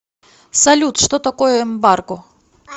салют что такое эмбарго